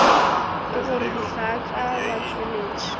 ke gore dihlaa tša batšweletši